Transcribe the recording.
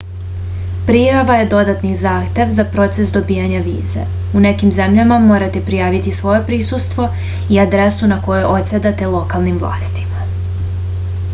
prijava je dodatni zahtev za proces dobijanja vize u nekim zemljama morate prijaviti svoje prisustvo i adresu na kojoj odsedate lokalnim vlastima